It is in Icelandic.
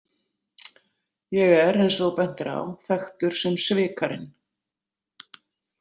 Ég er, eins og þú bentir á, þekktur sem Svikarinn